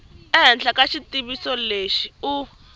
ehenhla ka xitiviso lexi u